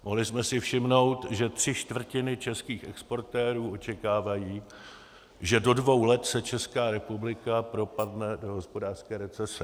Mohli jsme si všimnout, že tři čtvrtiny českých exportérů očekávají, že do dvou let se Česká republika propadne do hospodářské recese.